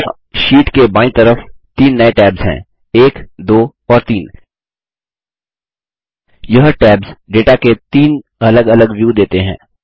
यहाँ शीट के बायीं तरफ तीन नये टैब्स हैं 1 2 और 3 यह टैब्स डेटा के तीन अलग अलग व्यू देते हैं